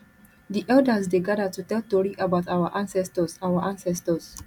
di elders dey gather to tell tori about our ancestors our ancestors